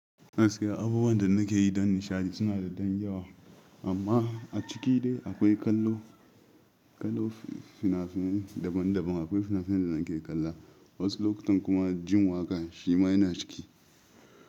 Gaskiya, abubuwan da nake yi don nishaɗi suna da ɗan yawa amma a ciki dai akwai kallo, kallo, fina-finai daban-daban. Akwai fina-finai da nake kalla wasu lokutan, kuma jin waƙa shi ma yana ciki.